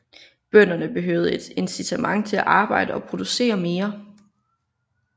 Bønderne behøvede et incitament til at arbejde og producere mere